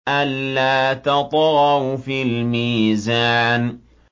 أَلَّا تَطْغَوْا فِي الْمِيزَانِ